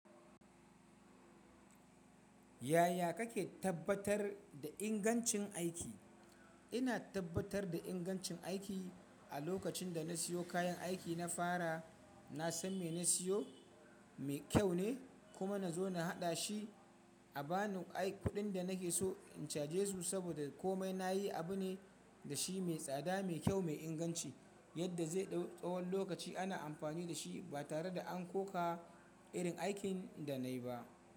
Yaya kake tabbatar da ingancin aiki? Ina tabbatar da ingancin aiki a lokacin da na siyo kayan aiki na fara. Na san me na siyo mai kyau ne, kuma na zo na haɗa shi a bani kuɗin da nake so in caje su, saboda komai na yi abu ne da shi mai tsada, mai kyau, mai inganci yadda zai ɗau tsawon lokaci ana amfani da shi ba tare da an koka irin aikin da na yi ba.